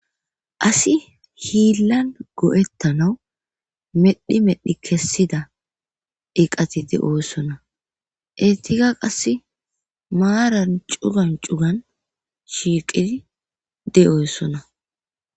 Asi hiillan go'ettanaw medhi medhi kessida iqatidi oossonna intika qasse maaran cugan cugan shiiqidi de'oossonna